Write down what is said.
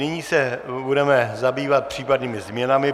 Nyní se budeme zabývat případnými změnami.